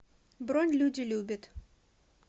бронь люди любят